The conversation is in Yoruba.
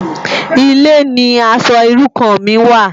Ilé ni aṣò irú kàn mi wá